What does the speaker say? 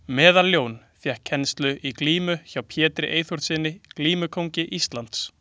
Meðaljón fékk kennslu í glímu hjá Pétri Eyþórssyni glímukóngi Íslands.